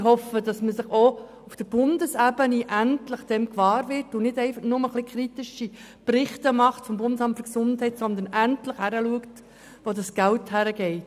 Ich hoffe, dass man sich auch auf Bundesebene endlich dessen gewahr wird und nicht einfach vonseiten des Bundesamts für Gesundheit (BAG) ein bisschen kritische Berichte verfasst, sondern endlich hinschaut, wohin das Geld fliesst.